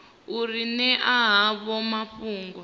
u ri ṅea havho mafhungo